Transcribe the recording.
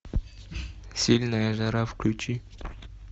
сильная жара включи